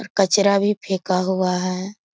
कचरा भी फेका हुआ है |